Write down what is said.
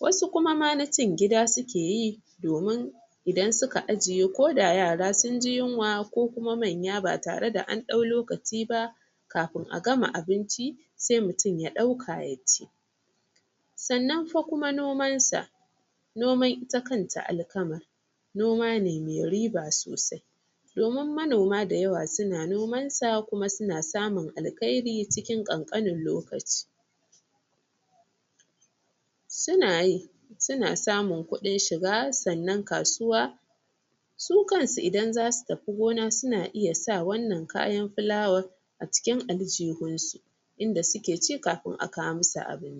wasu ma na cin gida suke yi domin idan suka ajiye ko da yara sunji yunwa ko kuma manya ba tare da an dau lokaci ba kafin a gama abinci sai mutum ya dauka yaci sannan fa kuma nomansa noman ita kanta alkaman noma ne me riba sosai domin manoma da yawa suna nomansa kuma suna samun alkhairi cikin kankanin lokaci sunayi suna samun kudin shiga sannan kasuwa su kansu idan zasu tafi gona suna iya sa wannan kayan fulawan a cikin aljihunsu inda suke ci kafin a kawo masu abinci